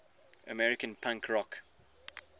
american punk rock